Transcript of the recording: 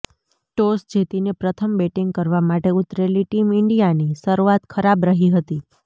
toss જીતીને પ્રથમ batting કરવા માટે ઉતરેલી ટીમ ઈન્ડિયાની શરૂઆત ખરાબ રહી હતી